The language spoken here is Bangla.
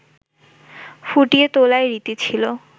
ফুটিয়ে তোলাই রীতি ছিল